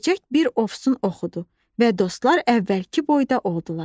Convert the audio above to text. Böcək bir ofsun oxudu və dostlar əvvəlki boyda oldular.